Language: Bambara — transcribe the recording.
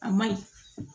A ma ɲi